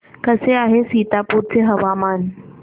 कसे आहे सीतापुर चे हवामान